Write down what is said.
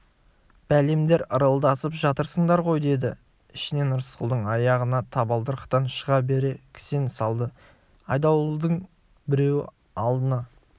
бәлемдер ырылдасып жатырсыңдар ғой деді ішінен рысқұлдың аяғына табалдырықтан шыға бере кісен салды айдауылдың біреуі алдына